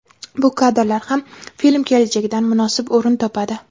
Bu kadrlar ham film kelajagidan munosib o‘rin topadi.